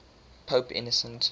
pope innocent